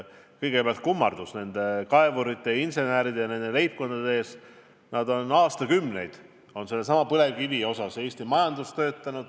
Kõigepealt minu kummardus sealsete kaevurite, inseneride ja leibkondade ees – nad on aastakümneid põlevkivi kaevandades Eesti majandust toetanud.